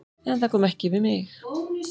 En það kom ekki við mig.